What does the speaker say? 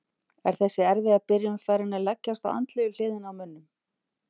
Er þessi erfiða byrjun farin að leggjast á andlegu hliðina á mönnum?